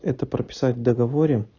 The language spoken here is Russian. это прописать в договоре